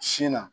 Sin na